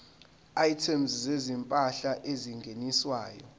items zezimpahla ezingeniswayo